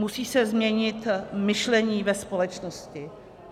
Musí se změnit myšlení ve společnosti.